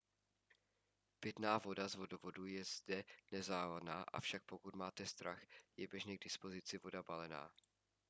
pitná voda z vodovodu je zde nezávadná avšak pokud máte strach je běžně k dispozici voda balená